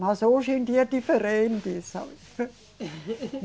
Mas hoje em dia é diferente, sabe?